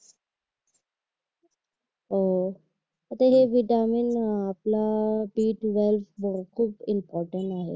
अह आता हे व्हिटॅमिन आपला बी ट्वेल्व्ह मूळ खूप इम्पॉर्टंट आहे